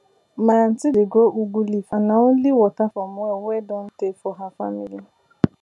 my aunti dey grow ugu leaf and nah only water from well wey don tey for her family